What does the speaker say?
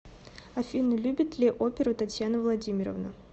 афина любит ли оперу татьяна владимировна